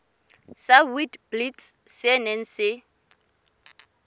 sa witblits se neng se